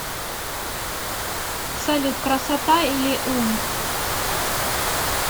салют красота или ум